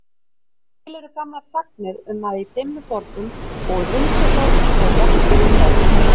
En til eru gamlar sagnir um að í Dimmuborgum búi huldufólk og jafnvel tröll.